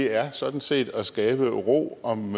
er sådan set at skabe ro om